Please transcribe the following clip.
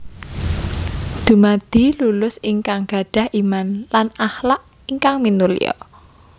Dumadi lulusan ingkang gadhah Iman lan akhlak ingkang minulya